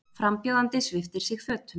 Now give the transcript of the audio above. Frambjóðandi sviptir sig fötum